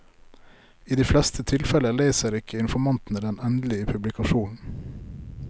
I de fleste tilfeller leser ikke informantene den endelige publikasjonen.